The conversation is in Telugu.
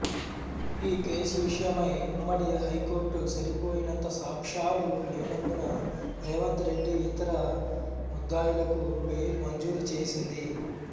ఈ కేసు విషయమై ఉమ్మడి హైకోర్టు సరిపోయినంత సాక్ష్యాలు లేనందున రేవంత్ రెడ్డి ఇతర ముద్దాయిలకు బెయిల్ మంజూరు చేసింది